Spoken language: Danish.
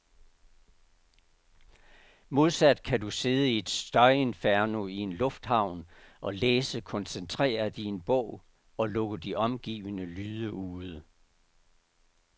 Modsat kan du sidde i et støjinferno i en lufthavn og læse koncentreret i en bog, og lukke de omgivende lyde ude.